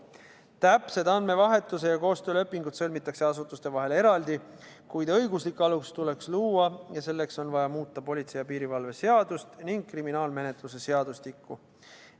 Täpsed andmevahetuse ja koostöö lepingud sõlmitakse asutuste vahel eraldi, kuid õiguslik alus tuleks luua ja selleks on vaja muuta politsei ja piirivalve seadust ning kriminaalmenetluse seadustikku.